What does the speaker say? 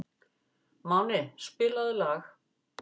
Máni, spilaðu lag.